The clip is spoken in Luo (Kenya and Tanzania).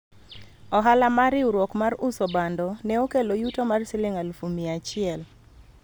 ohala mar riwruok mar uso bando ne okelo yuto mar siling alufu mia achiel